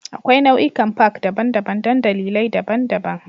Akwai nau'ikan Park daban-daban don dalilai daban-daban